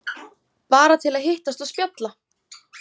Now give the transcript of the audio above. Bara til að hittast og spjalla.